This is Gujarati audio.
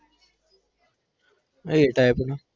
A type no